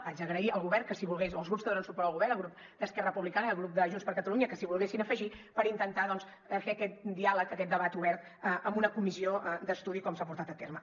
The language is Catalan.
haig d’agrair al govern o als grups que donen suport al govern el grup d’esquerra republicana i el grup de junts per catalunya que s’hi volguessin afegir per intentar doncs fer aquest diàleg aquest debat obert en una comissió d’estudi com s’ha portat a terme